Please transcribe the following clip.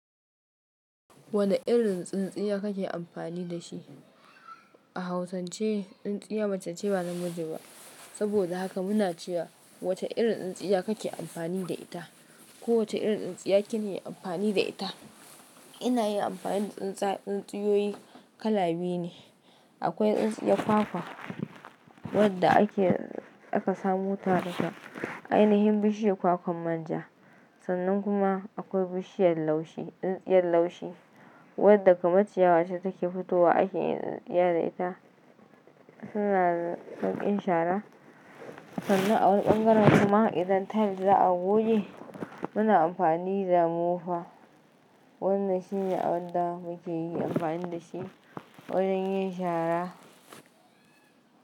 Wani irin tsintsiya kake amfani da shi? A hausance, tsintsiya mace ce ba na miji ba. Saboda haka muna cewa wace irin tsintsiya kake amfani da ita, ko wace irin tsintsiya kini yi amfani da ita. Ina yin amfani da tsintsiya, tsintsiyoyi kala biyu ne. Akwai tsintsiya kwakwa, wadda aka samu ta daga ainihin bishiyar kwakwan manja. Sannan kuma akwai bishiyar laushi, tsintsiyar laushi, wadda kuma ciyawa ce take fitowa aka yi tsintsiya da ita. Suna sauƙin shara. Sannan a wani ɓangaren kuma idan tiles za a goge, muna amfani da mofa. Wadanne shine abin da muke yi amfani da shi wajen yin shara.